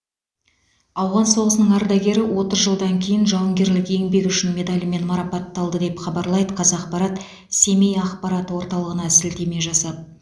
ауған соғысының ардагері отыз жылдан кейін жауынгерлік еңбегі үшін медалімен марапатталды деп хабарлайды қазақпарат семей ақпарат орталығына сілтеме жасап